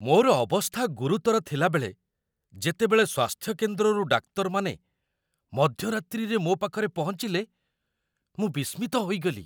ମୋର ଅବସ୍ଥା ଗୁରୁତର ଥିଲାବେଳେ ଯେତେବେଳେ ସ୍ୱାସ୍ଥ୍ୟକେନ୍ଦ୍ରରୁ ଡାକ୍ତରମାନେ ମଧ୍ୟରାତ୍ରିରେ ମୋ ପାଖରେ ପହଞ୍ଚିଲେ, ମୁଁ ବିସ୍ମିତ ହୋଇଗଲି।